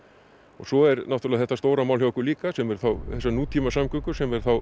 og svo er náttúrulega þetta stóra mál hjá okkur líka sem eru þá þessar nútímasamgöngur sem er þá